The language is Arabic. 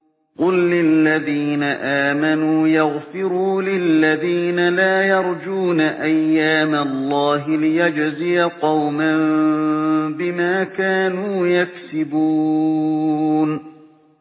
قُل لِّلَّذِينَ آمَنُوا يَغْفِرُوا لِلَّذِينَ لَا يَرْجُونَ أَيَّامَ اللَّهِ لِيَجْزِيَ قَوْمًا بِمَا كَانُوا يَكْسِبُونَ